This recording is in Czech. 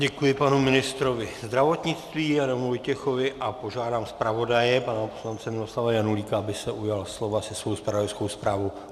Děkuji panu ministrovi zdravotnictví Adamu Vojtěchovi a požádám zpravodaje pana poslance Miloslava Janulíka, aby se ujal slova se svou zpravodajskou zprávou.